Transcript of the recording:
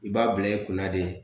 I b'a bila i kunna de